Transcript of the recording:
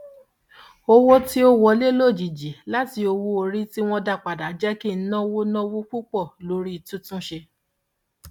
owó tí ó wọlé lójijì láti owóorí tí wọn dá padà jẹ kí n náwó náwó púpọ lórí títúnṣe